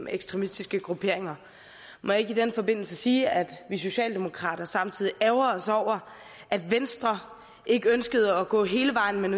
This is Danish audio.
ekstremistiske grupperinger må jeg ikke i den forbindelse sige at vi socialdemokrater samtidig ærgrer os over at venstre ikke ønskede at gå hele vejen men